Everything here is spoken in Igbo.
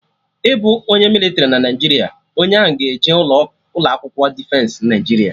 Ịbụ onye mịlịtrị na Naijiria, onye ahụ ga-eje ụlọ akwụkwọ Defensị Naijiria